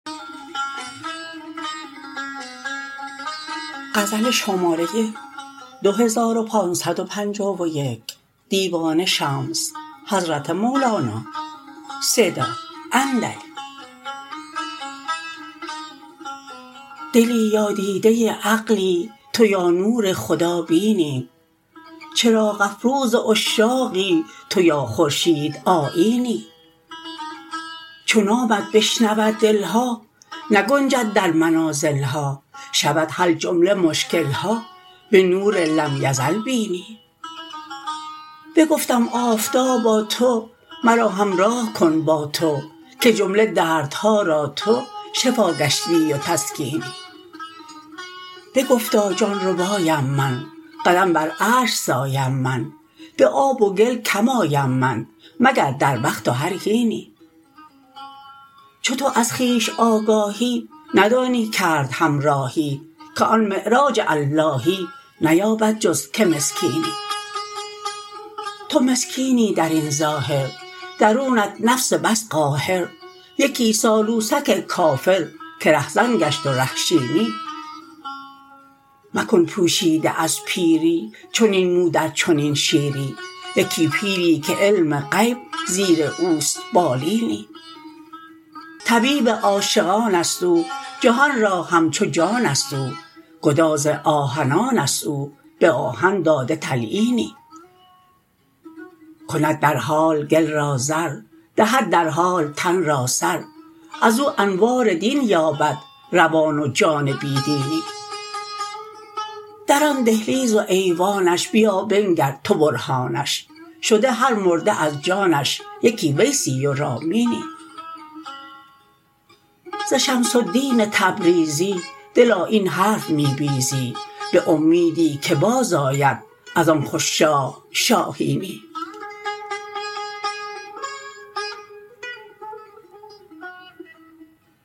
دلی یا دیده عقلی تو یا نور خدابینی چراغ افروز عشاقی تو یا خورشیدآیینی چو نامت بشنود دل ها نگنجد در منازل ها شود حل جمله مشکل ها به نور لم یزل بینی بگفتم آفتابا تو مرا همراه کن با تو که جمله دردها را تو شفا گشتی و تسکینی بگفتا جان ربایم من قدم بر عرش سایم من به آب و گل کم آیم من مگر در وقت و هر حینی چو تو از خویش آگاهی ندانی کرد همراهی که آن معراج اللهی نیابد جز که مسکینی تو مسکینی در این ظاهر درونت نفس بس قاهر یکی سالوسک کافر که رهزن گشت و ره شینی مکن پوشیده از پیری چنین مو در چنین شیری یکی پیری که علم غیب زیر او است بالینی طبیب عاشقان است او جهان را همچو جان است او گداز آهنان است او به آهن داده تلبینی کند در حال گل را زر دهد در حال تن را سر از او انوار دین یابد روان و جان بی دینی در آن دهلیز و ایوانش بیا بنگر تو برهانش شده هر مرده از جانش یکی ویسی و رامینی ز شمس الدین تبریزی دلا این حرف می بیزی به امیدی که بازآید از آن خوش شاه شاهینی